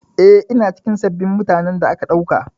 Eh, ina cikin sabbin mutanen da aka ɗauka.